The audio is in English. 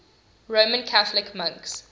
roman catholic monks